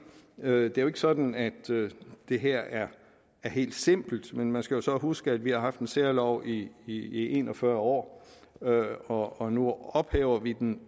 det er jo ikke sådan at det her er helt simpelt men man skal jo så huske at vi har haft en særlov i i en og fyrre år og nu ophæver vi den